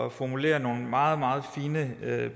at formulere nogle meget meget fine